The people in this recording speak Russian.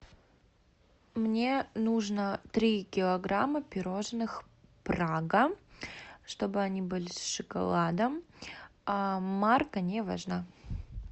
мне нужно три килограмма пирожных прага чтобы они были с шоколадом марка не важна